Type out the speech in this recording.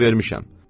Fikir vermişəm.